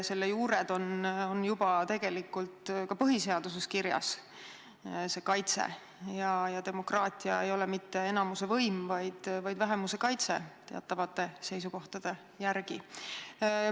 Selle juured on tegelikult ka põhiseaduses kirjas: demokraatia ei ole mitte enamuse võim, vaid vähemuse kaitse, lähtudes teatavatest seisukohtadest.